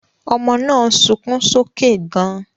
Ọmọ náà ń sunkún sókè gan-an